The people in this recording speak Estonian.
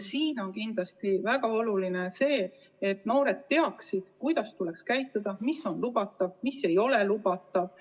Siin on kindlasti väga oluline see, et noored teaksid, kuidas tuleb käituda ning mis on lubatud ja mis ei ole lubatud.